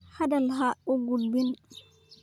Hadal ha igu dhibin.